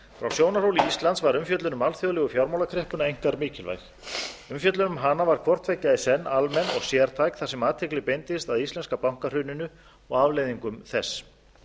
frá sjónarhóli íslands var umfjöllun um alþjóðlegu fjármálakreppuna einkar mikilvæg umfjöllun um hana var hvort tveggja í senn almenn og sértæk þar sem athygli beindist að íslenska bankahruninu og afleiðingum þess